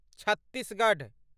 Chhattisgarh